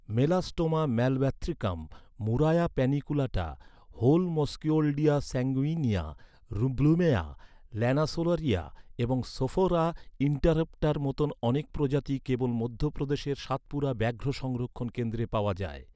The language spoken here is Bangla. Melastoma malabathricum, Murraya paniculata, Holmskioldia sanguinea, Blumea lanceolaria এবং সোফোরা ইন্টারপ্টার মতো অনেক প্রজাতি কেবল মধ্যপ্রদেশের সাতপুরা ব্যাঘ্র সংরক্ষণ কেন্দ্রে পাওয়া যায়।